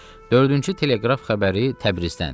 Dördüncü teleqraf xəbəri Təbrizdəndir.